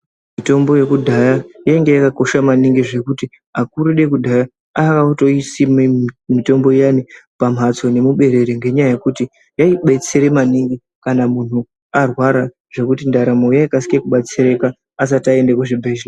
Mitombo yekudhaya yanga yakakosha kuti vakuru vedu vekudhaya vaitosima mitombo iyani nemubererre ngenyaya yekuti yaibetsera maningi zvekuti kana mudumbu marwara ndaramo yaikasira kubatsirika asati aenda kuzvibhedheya.